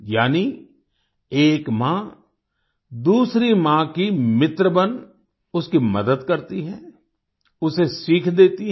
यानी एक माँ दूसरी माँ की मित्र बन उसकी मदद करती है उसे सीख देती है